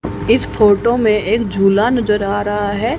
इस फोटो मे एक झुला नजर आ रहा है।